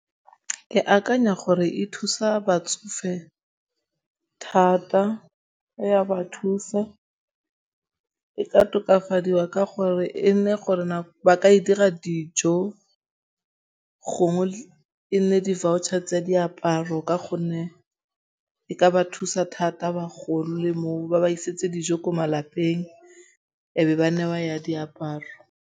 Ke akanya gore e thusa batsofe thata. E ya ba thusa. E ka tokafadiwa ka gore e nne gore ba ka e dira dijo gongwe e nne di-voucher tse diaparo ka gonne e ka ba thusa thata bagolo le moo ba ba isetse dijo ko malapeng ebe ba newa ya diaparo.